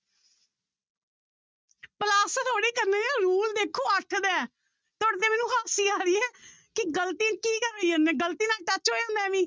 Plus ਥੋੜ੍ਹੀ ਕਰਨੇ ਹੈ rule ਦੇਖੋ ਅੱਠ ਦਾ ਹੈ, ਤੁਹਾਡੇ ਤੇ ਮੈਨੂੰ ਹੱਸੀ ਆ ਰਹੀ ਹੈ ਕਿ ਗ਼ਲਤੀ ਕੀ ਕਰਾਈ ਜਾਨੇ ਗ਼ਲਤੀ ਨਾਲ touch ਹੋ ਜਾਂਦਾ ਹੈ ਐਵੀਂ